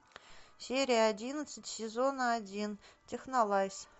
серия одиннадцать сезона один технолайз